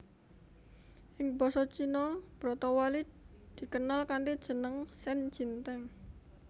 Ing basa Cina bratawali dikenal kanthi jeneng shen jin teng